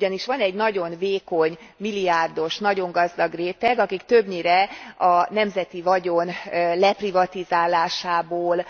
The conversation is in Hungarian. Ugyanis van egy nagyon vékony milliárdos, nagyon gazdag réteg, akik többnyire a nemzeti vagyon leprivatizálásából